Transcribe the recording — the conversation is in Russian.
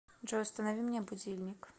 джой установи мне будильник